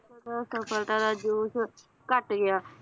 ਸਫਲਤਾ ਦਾ ਜੋਸ਼ ਘੱਟ ਗਿਆ